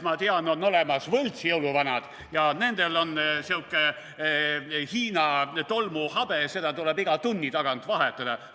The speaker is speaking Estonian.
Ma tean, on olemas võltsjõuluvanad ja nendel on sihuke Hiina tolmuhabe, seda tuleb iga tunni tagant vahetada.